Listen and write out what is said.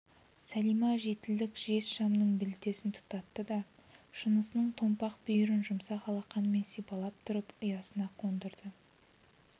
сәлима жетілдік жез шамның білтесін тұтатты да шынысының томпақ бүйірін жұмсақ алақанымен сипалап тұрып ұясына қондырды